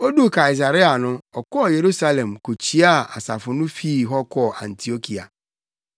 Oduu Kaesarea no, ɔkɔɔ Yerusalem kokyiaa asafo no fii hɔ kɔɔ Antiokia.